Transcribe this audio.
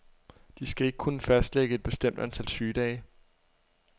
De skal ikke kunne fastlægge et bestemt antal sygedage.